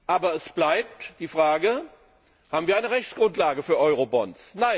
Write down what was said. Aber es bleibt die Frage Haben wir eine Rechtsgrundlage für Eurobonds?